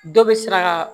Dɔ bɛ sira kan